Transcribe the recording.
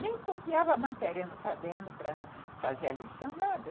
Nem copiava a matéria no caderno para fazer a lição, nada.